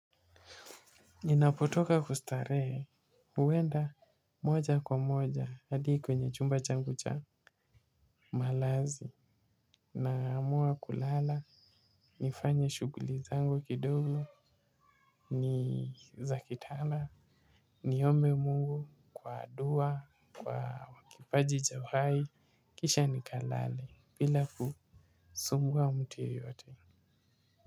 Ninapotoka kustarehe, huenda moja kwa moja, hadi kwenye chumba changu cha malazi, naamua kulala, nifanya shughuli zangu kidogo, nizakitanda, niombe mungu, kwa dua, kwa wakipaji cha uhai, kisha nikalale, bila kusumbua mtu yoyote.